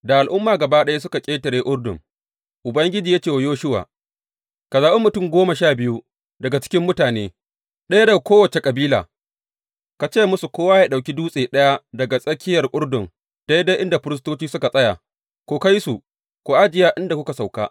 Da al’umma gaba ɗaya suka ƙetare Urdun, Ubangiji ya ce wa Yoshuwa, Ka zaɓi mutum goma sha biyu daga cikin mutane, ɗaya daga kowace kabila, ka ce musu kowa yă ɗauki dutse ɗaya daga tsakiyar Urdun daidai inda firistoci suka tsaya, ku kai su, ku ajiye a inda za ku sauka yau.